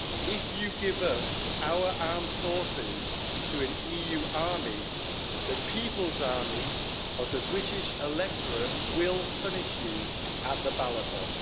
If you give up our armed forces to an EU army, the people's army of the British electorate will punish you at the ballot box.